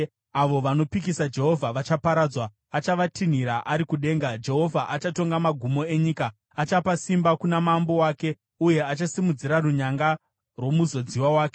Avo vanopikisa Jehovha vachaparadzwa. Achavatinhirira ari kudenga; Jehovha achatonga magumo enyika. “Achapa simba kuna mambo wake, uye achasimudzira runyanga rwomuzodziwa wake.”